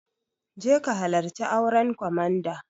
Je ki halarci auren komanda!